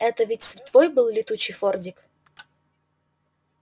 это ведь твой был летучий фордик